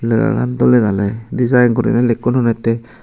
lega gan dole dale dijain gurinei lekkon henette.